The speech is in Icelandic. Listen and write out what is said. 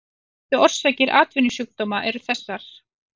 Helstu orsakir atvinnusjúkdóma eru þessar